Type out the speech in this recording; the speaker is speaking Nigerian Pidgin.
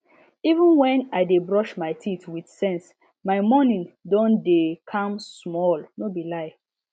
even when i dey brush my teeth with sense my morning don dey calm small no be lie